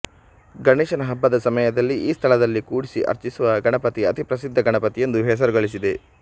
ಗಣೇಶನ ಹಬ್ಬದ ಸಮಯದಲ್ಲಿ ಈ ಸ್ಥಳದಲ್ಲಿ ಕೂಡಿಸಿ ಅರ್ಚಿಸುವ ಗಣಪತಿ ಅತಿ ಪ್ರಸಿದ್ಧ ಗಣಪತಿಯೆಂದು ಹೆಸರುಗಳಿಸಿದೆ